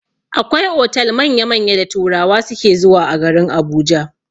Akwai otal manya-manya da turawa suke zuwa a garin Abuja.